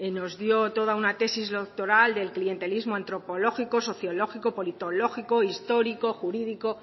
nos dio toda una tesis doctoral del clientelismo antropológico sociológico politológico histórico jurídico